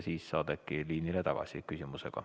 Siis saad küsimusega äkki liinile tagasi.